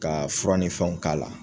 Ka fura ni fɛnw k'a la.